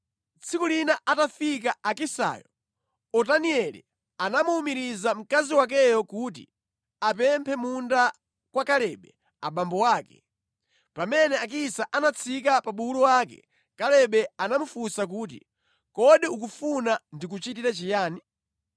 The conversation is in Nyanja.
Tsiku lina atafika Akisayo, Otanieli anamuwumiriza mkazi wakeyo kuti apemphe munda kwa Kalebe abambo ake. Pamene Akisa anatsika pa bulu wake, Kalebe anamufunsa kuti, “Kodi ukufuna ndikuchitire chiyani?”